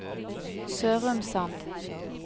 Sørumsand